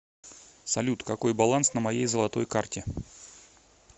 салют какой баланс на моей золотой карте